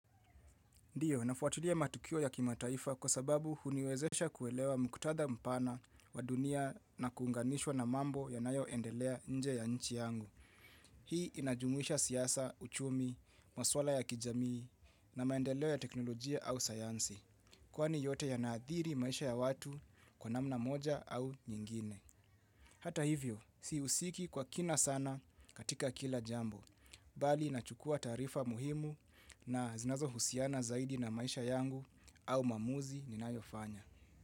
Ndiyo, nafuatulia matukio ya kimataifa kwa sababu huniwezesha kuelewa mkutadha mpana wa dunia na kuunganishwa na mambo ya nayo endelea nje ya nchi yangu. Hii inajumuisha siasa, uchumi, masuala ya kijamii na maendeleo ya teknolojia au sayansi. Kwa ni yote ya naathiri maisha ya watu kwa namna moja au nyingine. Hata hivyo, si husiki kwa kina sana katika kila jambo. Bali nachukua tarifa muhimu na zinazo husiana zaidi na maisha yangu au maamuzi ninayofanya.